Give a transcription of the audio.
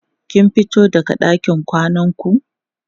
kin fito daga ɗakin kwanan ku?